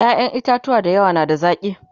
ƴaƴan itatuwa da yawa na da zaki